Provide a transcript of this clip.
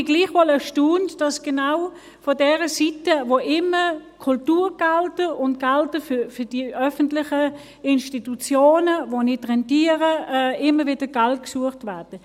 Aber ich bin gleichwohl erstaunt, dass genau von der Seite, von der immer Kulturgelder und Gelder für die öffentlichen Institutionen, die nicht rentieren, gesucht werden …